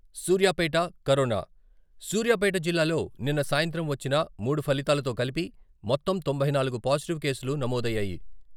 Suryapet corona, Suryapet జిల్లాలో నిన్న సాయంత్రం వచ్చిన మూడు ఫలితాలతో కలిపి మొత్తం తొంభై నాలుగు పాజిటివ్ కేసులు నమోదయ్యాయి.